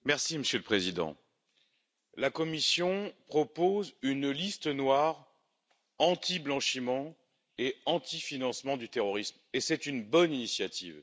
Monsieur le Président, la Commission propose une liste noire anti blanchiment et anti financement du terrorisme, et c'est une bonne initiative.